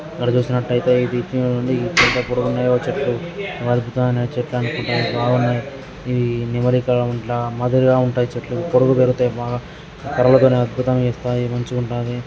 ఇక్కడ చూసినట్లయితే ఇవి వేర్లు నుండి ఎంత పొడవు ఉన్నాయో చెట్లు. వల్కము గానుగ చెట్లు అనుకుంట. ఇవి నెమలి ఈకలు లా మృదుఫుగా ఉంటాయి.చెట్లు పొడుగు పెరుగుతాయి. బాగా కర్రలు కూడా అద్భుతంగా వస్తాయి మంచిగా ఉన్నాయి.